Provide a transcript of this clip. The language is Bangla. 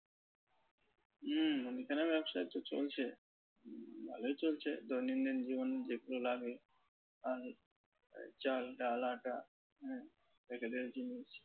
হুম মুদিখানার ব্যবসা তো চলছে। ভালোই চলছে দৈনন্দিন জীবনে যেগুলো লাগে আর চাল ডাল আটা হ্যাঁ level এর জিনিস।